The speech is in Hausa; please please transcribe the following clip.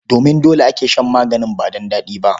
Domin dole ake shan magani ba don daɗi ba.